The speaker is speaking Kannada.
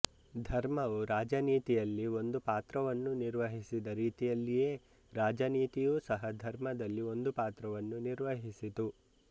ಧರ್ಮವು ರಾಜನೀತಿಯಲ್ಲಿ ಒಂದು ಪಾತ್ರವನ್ನು ನಿರ್ವಹಿಸಿದ ರೀತಿಯಲ್ಲಿಯೇ ರಾಜನೀತಿಯೂ ಸಹ ಧರ್ಮದಲ್ಲಿ ಒಂದು ಪಾತ್ರವನ್ನು ನಿರ್ವಹಿಸಿತು